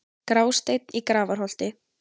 Grásteinn í Grafarholti